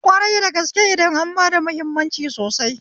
Kwari da gaske idan an bada hammimanci sosai